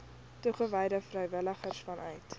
toegewyde vrywilligers vanuit